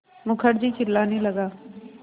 मुखर्जी चिल्लाने लगा